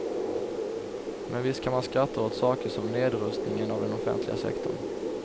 Men visst kan man skratta åt saker som nedrustningen av den offentliga sektorn.